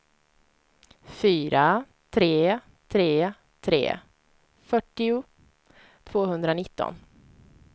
fyra tre tre tre fyrtio tvåhundranitton